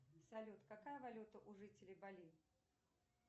салют какая валюта у жителей бали